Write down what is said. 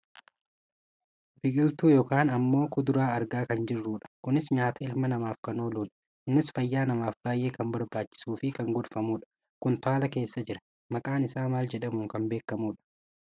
Biqiltuu yookaan ammoo kuduraa argaa kan jirrudha. Kunis nyaata ilma namaaf kan ooludha. Innis fayyaa namaaf baayyee kan barbaachisuufi kan gorfamudha. Kuntaala keessa jira. Maqaan isaa maal jedhamuun kan beekamudha?